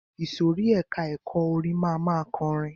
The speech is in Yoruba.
Ìsòrí ẹka ẹ̀kọ́ orin máa ma kọrin.